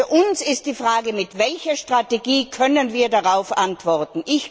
Für uns stellt sich die Frage Mit welcher Strategie können wir darauf antworten?